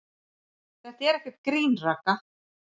Þetta er ekkert grín, Ragga.